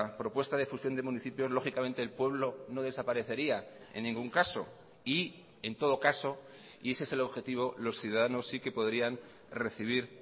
propuesta de fusión de municipios lógicamente el pueblo no desaparecería en ningún caso y en todo caso y ese es el objetivo los ciudadanos sí que podrían recibir